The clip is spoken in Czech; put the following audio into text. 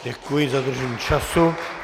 Děkuji za dodržení času.